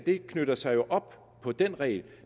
knytter sig jo op på den regel